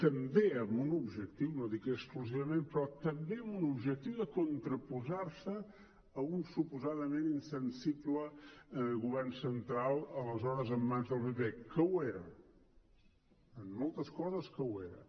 també amb un objectiu no dic exclusivament però també amb un objectiu de contraposar se a un suposadament insensible govern central aleshores en mans del pp que ho era en moltes coses ho era